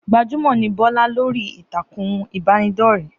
Gbajúmò ní Bọ́lá lórí ìtàkùn ìbánidọ́rẹ́